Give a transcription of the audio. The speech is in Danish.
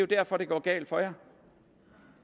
derfor at det går galt for jer